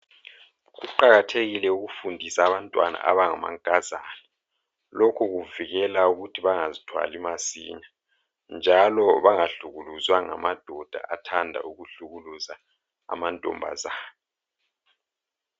Kuqakathekile ukufundisa Abantwana abangamankazana ,lokhu kuvikela ukuthi bangazithwali masinya, njalo bangahlukuluzwa ngamadoda athanda ukuhlukuluza amantombazana.